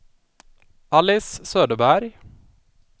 Alice Söderberg